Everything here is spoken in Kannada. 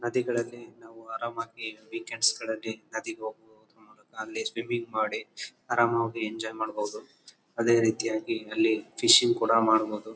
ನದಿಗಳಲ್ಲಿ ನಾವು ಹರಾಮಾಗಿ ನದಿಗೆ ಹೋಗುವುದರ ಮೂಲಕ ಅಲ್ಲಿ ಸ್ವಿಮ್ಮಿಂಗ್ ಮಾಡಿ ಹರಾಮಾಗಿ ಎಂಜಾಯ್ ಮಾಡಬೋದು. ಅದೇ ರೀತಿಯಾಗಿ ಅಲ್ಲಿ ಫಿಶಿಂಗ್ ಕೂಡ ಮಾಡಬೋದು.